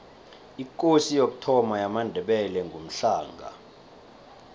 ikosi yokuthoma yamandebele ngumhlanga